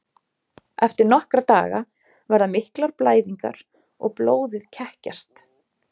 Eftir nokkra daga verða miklar blæðingar og blóðið kekkjast.